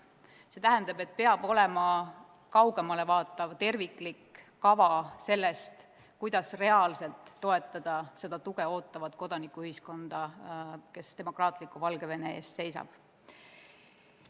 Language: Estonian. See tähendab, et peab olema kaugemale vaatav terviklik kava selle kohta, kuidas reaalselt toetada seda tuge ootavat kodanikuühiskonda, kes demokraatliku Valgevene eest seisab.